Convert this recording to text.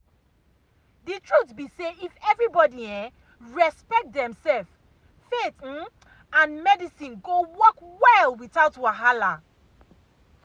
the truth be say if everybody um respect demself faith um and medicine go work well without wahala.